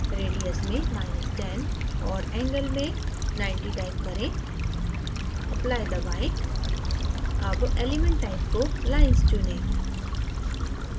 radius में10 minus ten और angle में 90 type करें apply दबाएँ अब element type को lines चुनें